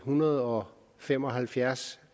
hundrede og fem og halvfjerds